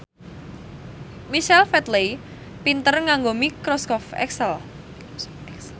Michael Flatley pinter nganggo microsoft excel